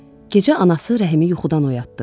Gecə anası Rəhimi yuxudan oyatdı.